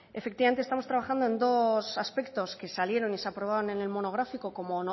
efectivamente estamos trabajando en dos aspectos que salieron y se aprobaron en el monográfico como